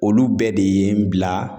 Olu bɛɛ de ye n bila